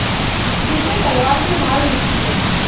जैसे तलवार से ढाल मिलती है